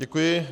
Děkuji.